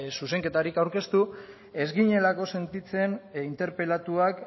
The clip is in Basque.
zuzenketarik aurkeztu ez ginelako sentitzen interpelatuak